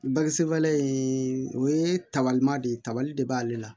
Bagisinen in o ye tabaliman de ye tabali de b'ale la